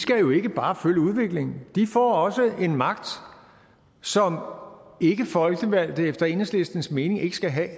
skal jo ikke bare følge udviklingen de får også en magt som ikkefolkevalgte efter enhedslistens mening ikke skal have